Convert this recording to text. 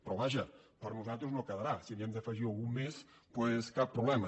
però vaja per nosaltres no quedarà si n’hi hem d’afegir algun més doncs cap problema